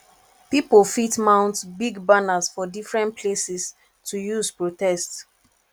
pipo fit mount big banners for different places to use protest